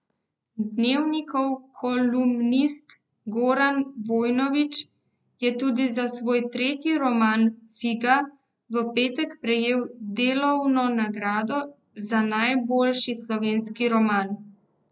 Dnevnikov kolumnist Goran Vojnović je tudi za svoj tretji roman, Figa, v petek prejel Delovo nagrado za najboljši slovenski roman.